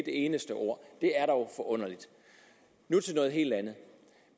eneste ord det er dog forunderligt nu til noget helt andet